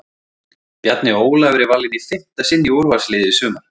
Bjarni Ólafur er valinn í fimmta sinn í úrvalsliðið í sumar!